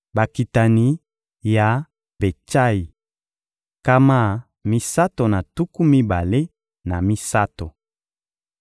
Bakitani ya Betsayi: nkama misato na tuku mibale na misato.